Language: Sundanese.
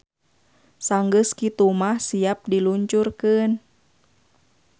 Sanggeus kitu mah siap di luncurkeun.